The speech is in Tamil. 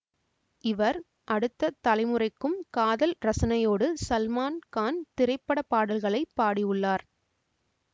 இவர் அடுத்த தலைமுறைக்கும் காதல் ரசனையோடு சல்மான் கான் திரைப்பட பாடல்களை பாடியுள்ளார்